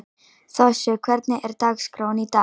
Þossi, hvernig er dagskráin í dag?